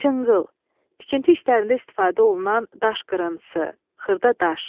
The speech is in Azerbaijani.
Çınqıl, tikinti işlərində istifadə olunan daş qırıntısı, xırda daş.